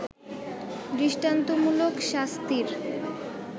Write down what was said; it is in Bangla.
দৃষ্টান্তমূলক শাস্তির